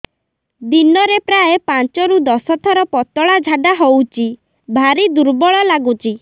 ଦିନରେ ପ୍ରାୟ ପାଞ୍ଚରୁ ଦଶ ଥର ପତଳା ଝାଡା ହଉଚି ଭାରି ଦୁର୍ବଳ ଲାଗୁଚି